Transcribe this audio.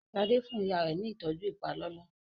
Shade fún ìyá rẹ ní ìtọjú ipalọlọ